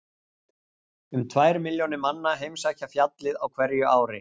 Um tvær milljónir manna heimsækja fjallið á hverju ári.